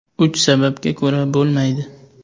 Uch sababga ko‘ra bo‘lmaydi.